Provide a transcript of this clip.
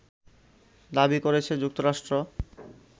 দাবি করেছে যুক্তরাষ্ট্র